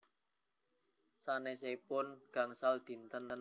Sanesipun punika wonten setunggal sasi ingkang gadhahi gangsal dinten